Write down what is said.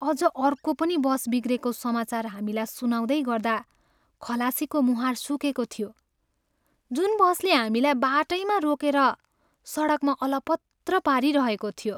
अझ अर्को पनि बस बिग्रेको समाचार हामीलाई सुनाउँदै गर्दा खलासीको मुहार सुकेको थियो, जुन बसले हामीलाई बाटैमा रोकेर सडकमा अलपत्र पारिरहेको थियो।